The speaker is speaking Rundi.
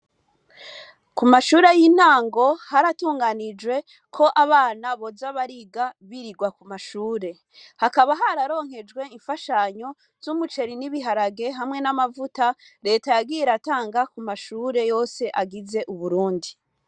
Ku mashure y'intango haratunganijwe ko abana boza bariga birirwa ku mashure, hakaba hararonkejwe imfashanyo z'umuceri n'ibiharage, hamwe n'amavuta, reta yagiye iratanga ku mashure yose agize Uburundi.